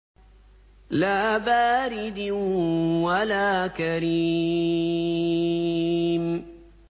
لَّا بَارِدٍ وَلَا كَرِيمٍ